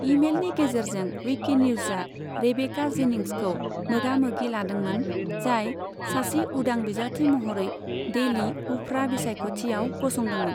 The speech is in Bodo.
ईमेलनि गेजेरजों, विकिनिउजआ रेबेका जेनिंग्सखौ मोगामोगि लादोंमोन, जाय सासे उदां बिजाथि महरै डेली उफ्रा बिसायख'थियाव गसंदोंमोन।